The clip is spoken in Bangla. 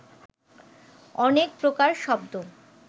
অনেক প্রকার শব্দ